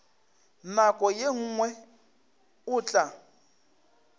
nako ye nngwe o tla